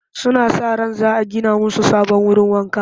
Suna sa ran za a gina musu sabon wurin wanka